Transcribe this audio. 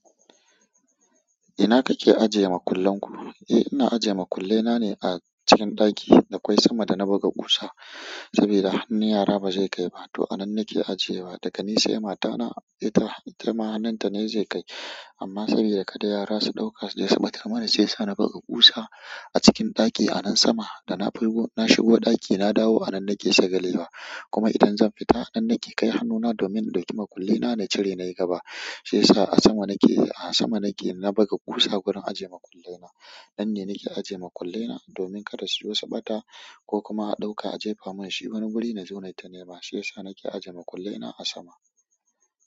Ina kake ajiye makullenku? Eh ina ajiye makullena ne a cikin ɗaki da kwai sama da na buga kusa, saboda hannun yara ba zai kai ba. To anan nake ajiyewa daga ni sai matana itama hannunta ne zai kai amma saboda kada yara su ɗauka su je su batar mana, shiyasa na buga ƙusa a cikin ɗaki a nan sama. Da na shigo ɗaki na dawo a nan nake saka gelewa. Kuma idan zan fita a nan nake kai hannuna domin in ɗauki makullena na cire nayi gaba. Sai ya sa a sama nake, a sama nake na buga ƙusa wurin ajiye makullena. Nan ne nake ajiye makullena domin kada su zo su bata ko kuma a ɗauka a jefa mun shi wani guri na zo nai ta nema. Shiyasa nake ajiye makullena a sama.